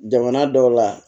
Jamana dɔw la